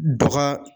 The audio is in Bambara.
Dɔgɔ